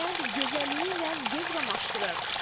Kənd gözəlliyi ilə göz qamaşdırır.